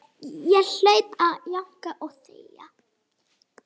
Ég hlaut að jánka og þegja.